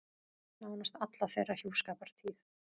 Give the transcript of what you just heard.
Nánast alla þeirra hjúskapartíð.